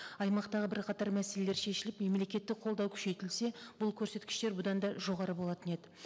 аймақтағы бірқатар мәселелер шешіліп мемлекеттік қолдау күшейтілсе бұл көрсеткіштер бұдан да жоғары болатын еді